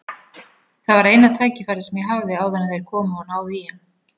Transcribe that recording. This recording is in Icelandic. Það var eina tækifærið sem ég hafði áður en þeir komu og náðu í hann.